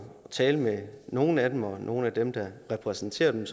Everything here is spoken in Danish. talt med nogle af dem og nogle af dem der repræsenterer dem